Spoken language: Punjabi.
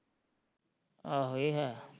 ਆਹੋ ਏਹ ਹੈ